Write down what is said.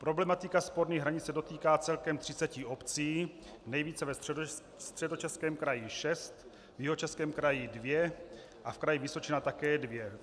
Problematika sporných hranic se dotýká celkem třiceti obcí, nejvíce ve Středočeském kraji - šest, v Jihočeském kraji dvě a v kraji Vysočina také dvě.